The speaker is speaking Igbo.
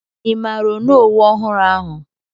Ị maara onowu ọhụrụ ahụ?